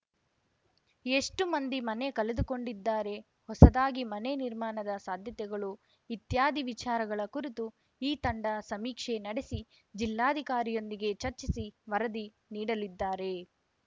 ಎಷ್ಟುಮಂದಿ ಮನೆ ಕಳೆದುಕೊಂಡಿದ್ದಾರೆ ಹೊಸದಾಗಿ ಮನೆ ನಿರ್ಮಾಣದ ಸಾಧ್ಯತೆಗಳು ಇತ್ಯಾದಿ ವಿಚಾರಗಳ ಕುರಿತು ಈ ತಂಡ ಸಮೀಕ್ಷೆ ನಡೆಸಿ ಜಿಲ್ಲಾಧಿಕಾರಿಯೊಂದಿಗೆ ಚರ್ಚಿಸಿ ವರದಿ ನೀಡಲಿದ್ದಾರೆ